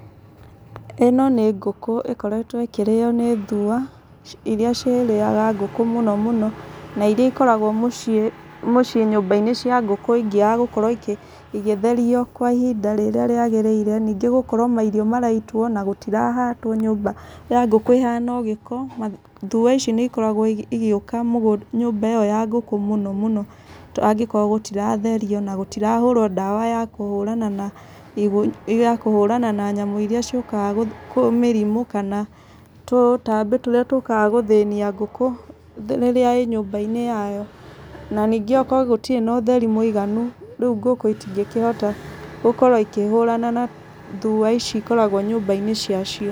ĩno nĩ ngũkũ ĩkoretwo ĩkĩrĩo nĩ thua, irĩa cirĩaga ngũkũ mũno mũno, na irĩa ikoragwo mũciĩ mũciĩ nyũmba-inĩ cia ngũkũ ingĩaga gũkorwo igĩtherio kwa ihinda rĩrĩa rĩagĩrĩre. Ningĩ gũkorwo mairio maraitwo, na gũtirahatwo nyũmba ya ngũkũ ĩhana o gĩko. Thua ici nĩ ikoragwo igĩũka nyũmba ĩyo ya ngũkũ mũno mũno. To angĩkorwo gũtiratherio, na gũtirahũrwo ndawa ya kũhũrana na ya kũhũrana na nyamũ irĩa ciũkaga kũ mĩrimũ, kana tũtambĩ tũrĩa tũkaga gũthĩnia ngũkũ rĩrĩa ĩĩ nyũmba-inĩ yayo. Na ningĩ okorwo gũtirĩ na ũtheri mũiganu, rĩu ngũkũ itingĩkĩhota gũkorwo ikĩhũrana na thua ici ikoragwo nyũmba-inĩ cia cio.